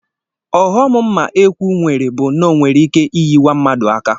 Ọghọm mma ekwu nwere bụ na ọ nwereike iyiwa mmadụ aka